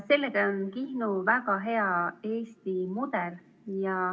Sellega on Kihnu väga hea Eesti mudel.